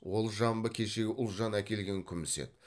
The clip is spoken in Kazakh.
ол жамбы кешегі ұлжан әкелген күміс еді